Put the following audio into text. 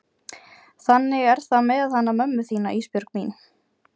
Þannig er það með hana mömmu þína Ísbjörg mín.